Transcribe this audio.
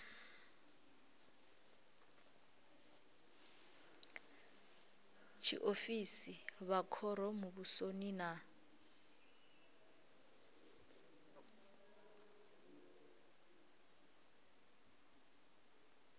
tshiofisi vha khoro muvhusoni na